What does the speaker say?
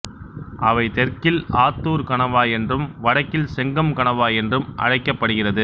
அவை தெற்கில் ஆத்தூர் கணவாய் என்றும் வடக்கில் செங்கம் கணவாய் என்றும் அழைக்கப்படுகிறது